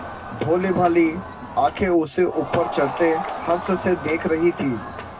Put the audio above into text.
भोलीभाली आँखें उसे ऊपर चढ़ते हर्ष से देख रही थीं